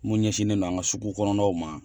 Mun ɲɛsinnen do an ka sugu kɔnɔnaw ma